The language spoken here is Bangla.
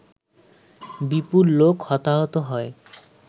বিপুল লোক হতাহত হয়